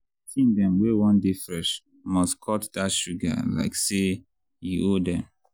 teen dem wey wan dey fresh must cut that sugar like say e owe dem.